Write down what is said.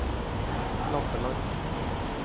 Lampeland